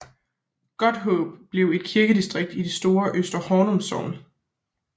Godthåb blev et kirkedistrikt i det store Øster Hornum Sogn